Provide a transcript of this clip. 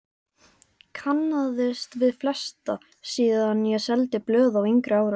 Kannaðist við flesta síðan ég seldi blöð á yngri árum.